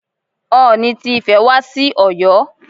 Ooni ti Ifẹ̀ wá sí Ọ̀yọ́.